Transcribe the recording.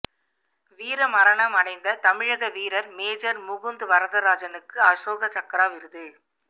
வீர மரணம் அடைந்த தமிழக வீரர் மேஜர் முகுந்த் வரதராஜனுக்கு அசோக சக்ரா விருது